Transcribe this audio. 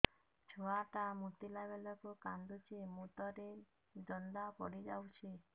ଛୁଆ ଟା ମୁତିଲା ବେଳକୁ କାନ୍ଦୁଚି ମୁତ ରେ ଜନ୍ଦା ପଡ଼ି ଯାଉଛି